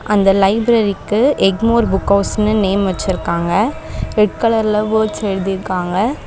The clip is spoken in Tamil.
அந்த லைப்ரரிக்கு எக்மோர் புக் ஹவுஸ்னு நேம் வச்சிருக்காங்க. ரெட் கலர்ல வோர்ட்ஸ் எழுதிருக்காங்க.